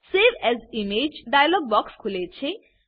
save as image dialog box ખુલે છે